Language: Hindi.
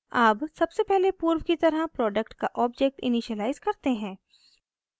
अब सबसे पहले पूर्व की तरह product का ऑब्जेक्ट इनिशिअलाइज़ करते हैं